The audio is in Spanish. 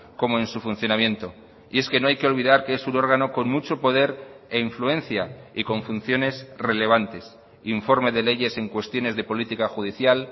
como en su funcionamiento y es que no hay que olvidar que es un órgano con mucho poder e influencia y con funciones relevantes informe de leyes en cuestiones de política judicial